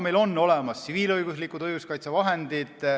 Meil on olemas tsiviilõiguslikud õiguskaitsevahendid.